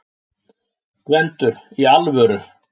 GVENDUR: Í alvöru?